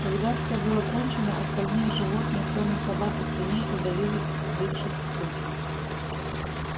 когда всё было кончено остальные животные кроме собак и свиней удалились сбившись в кучу